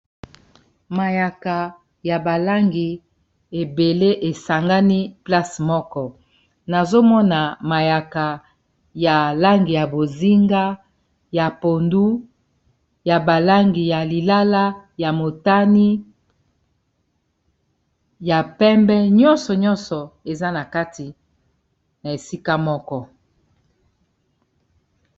Mayaka ya balangi ebele esangani place moko nazomona mayaka ya langi ya bozinga, ya pondu ya balangi ya lilala ya motani, ya pembe nyonso nyonso eza na kati na esika moko.